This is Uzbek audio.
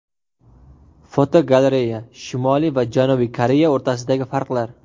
Fotogalereya: Shimoliy va Janubiy Koreya o‘rtasidagi farqlar.